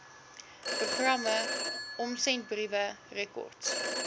programme omsendbriewe rekords